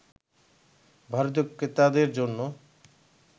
ভারতীয় ক্রেতাদের জন্য